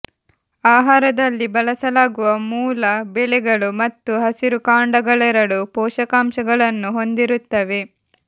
ಆಹಾರದಲ್ಲಿ ಬಳಸಲಾಗುವ ಮೂಲ ಬೆಳೆಗಳು ಮತ್ತು ಹಸಿರು ಕಾಂಡಗಳೆರಡೂ ಪೋಷಕಾಂಶಗಳನ್ನು ಹೊಂದಿರುತ್ತವೆ